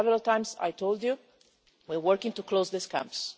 And several times I have told you we are working to close these camps.